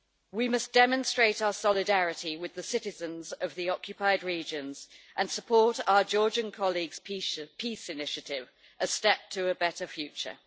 We must demonstrate our solidarity with the citizens of the occupied regions and support our Georgian colleagues' peace initiative, A Step to a Better Future'.